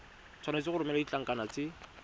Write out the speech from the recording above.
tshwanetse go romela ditlankana tse